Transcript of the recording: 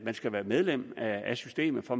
skal være medlem af systemet for